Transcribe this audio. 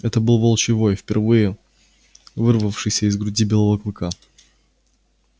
это выл волчий вой впервые вырвавшийся из груди белого клыка